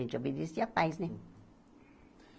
A gente obedecia a paz, né?